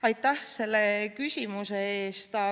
Aitäh selle küsimuse eest!